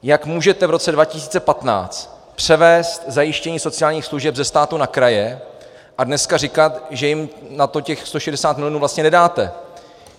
Jak můžete v roce 2015 převést zajištění sociálních služeb ze státu na kraje a dneska říkat, že jim na to těch 160 milionů vlastně nedáte?